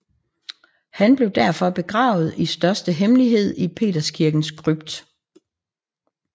Han blev derfor begravet i største hemmelighed i Peterskirkens krypt